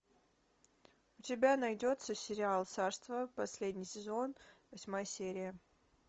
у тебя найдется сериал царство последний сезон восьмая серия